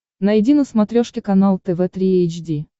найди на смотрешке канал тв три эйч ди